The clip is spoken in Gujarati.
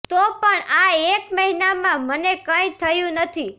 તો પણ આ એક મહિનામાં મને કઈ થયું નથી